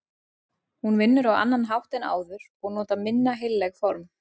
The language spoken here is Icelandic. Hún vinnur á annan hátt en áður og notar minna heilleg form.